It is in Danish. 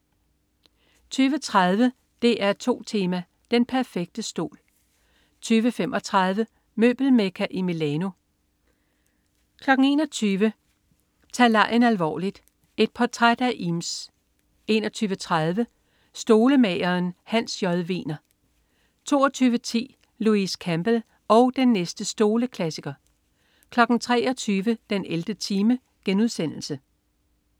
20.30 DR2 Tema: Den perfekte stol 20.35 Møbelmekka i Milano 21.00 Tag legen alvorligt. Et portræt af Eames 21.30 Stolemageren. Hans J. Wegner 22.10 Louise Campbell og den næste stoleklassiker 23.00 den 11. time*